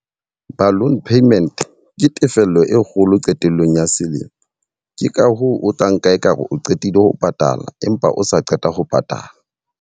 Balloon payment ke tefello e kgolo qetellong ya selemo. Ke ka hoo o tla nka ekare o qetile ho patala empa o sa qeta ho patala.